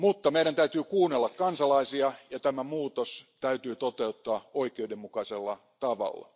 Meidän täytyy kuunnella kansalaisia, ja tämä muutos täytyy toteuttaa oikeudenmukaisella tavalla.